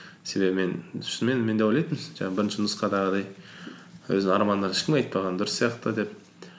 себебі мен шынымен мен де ойлатынмын жаңағы бірінші нұсқадағыдай өзінің армандарыңды ешкімге айтпаған дұрыс сияқты деп